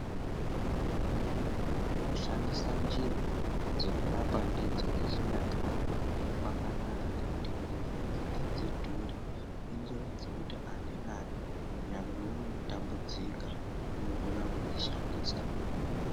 Kushandisa njira dzekurapa ndidzo dzechinyakare kwkanaka ngekuti njira idzi adzidhuri, injira dzekuti ani nani nyangewo unotambudzika unokona kudzishandisa.